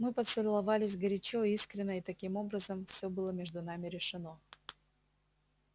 мы поцеловались горячо искренно и таким образом всё было между нами решено